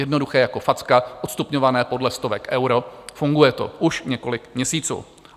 Jednoduché jako facka, odstupňované podle stovek euro, funguje to už několik měsíců.